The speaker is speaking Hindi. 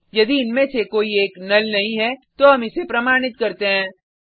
फिर यदि इनमे से कोई एक नुल नहीं है तो हम इसे प्रमाणित करते हैं